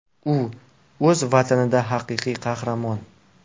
U o‘z Vatanida haqiqiy qahramon.